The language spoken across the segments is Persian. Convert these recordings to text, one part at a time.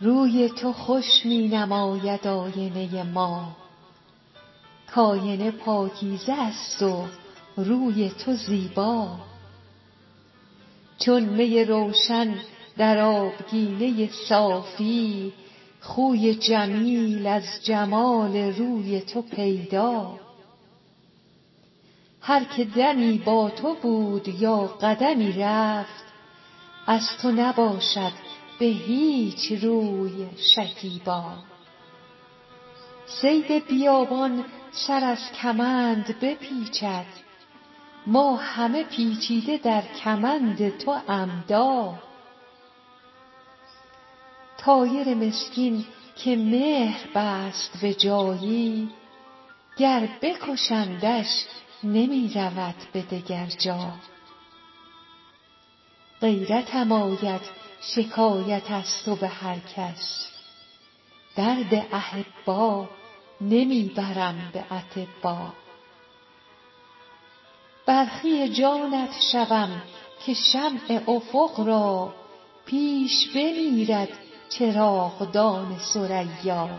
روی تو خوش می نماید آینه ما کآینه پاکیزه است و روی تو زیبا چون می روشن در آبگینه صافی خوی جمیل از جمال روی تو پیدا هر که دمی با تو بود یا قدمی رفت از تو نباشد به هیچ روی شکیبا صید بیابان سر از کمند بپیچد ما همه پیچیده در کمند تو عمدا طایر مسکین که مهر بست به جایی گر بکشندش نمی رود به دگر جا غیرتم آید شکایت از تو به هر کس درد احبا نمی برم به اطبا برخی جانت شوم که شمع افق را پیش بمیرد چراغدان ثریا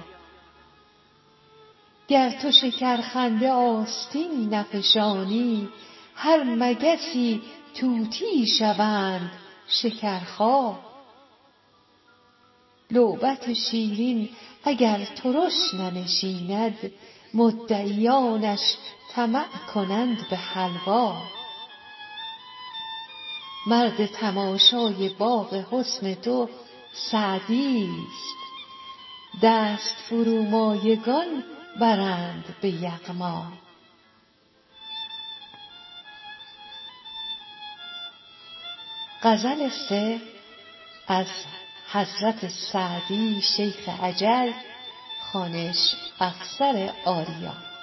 گر تو شکرخنده آستین نفشانی هر مگسی طوطیی شوند شکرخا لعبت شیرین اگر ترش ننشیند مدعیانش طمع کنند به حلوا مرد تماشای باغ حسن تو سعدیست دست فرومایگان برند به یغما